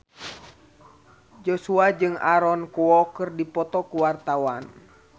Joshua jeung Aaron Kwok keur dipoto ku wartawan